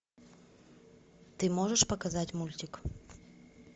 ты можешь показать мультик